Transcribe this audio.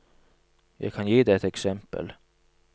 Jeg kan gi deg et eksempel.